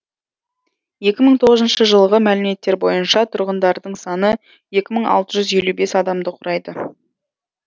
екі мың тоғызыншы жылғы мәліметтер бойынша тұрғындарының саны екі мың алты жүз елу бес адамды құрады